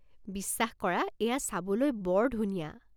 বিশ্বাস কৰা, এইয়া চাবলৈ বৰ ধুনীয়া।